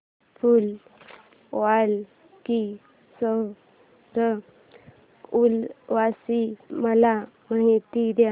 फूल वालों की सैर उत्सवाची मला माहिती दे